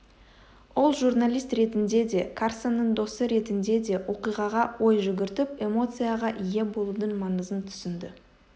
ол журналист ретінде де карсонның досы ретінде де оқиғаға ой жүгіртіп эмоцияға ие болудың маңызын түсінді